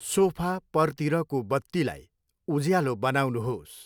Sofa पर्तिरको बत्तीलाई उल्यालो बनाउनुहोस्।